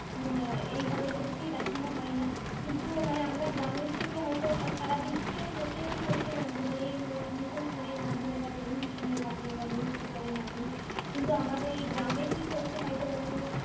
আহ এইভাবে সত্যিই দেখানো হয় না কিন্তু মানে আমরা গ্রামের থেকে হয়তো সারা বিশ্বের কোথায় কি হচ্ছে জানতে পারি এই মোটো phone এর মাধ্যমে বা television মাধ্যমে বা news paper এর মাধ্যমে কিন্তু আমাদের এই গ্রামে কি ঘটছে হয়তো অন্য